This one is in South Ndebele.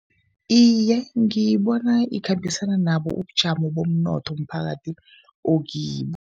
Iye, ngibona ikhambisana nabo ubujamo bomnotho umphakathi okibo.